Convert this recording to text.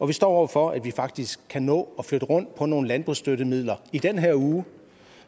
vi står over for at vi faktisk kan nå at flytte rundt på nogle landbrugsstøttemidler i den her uge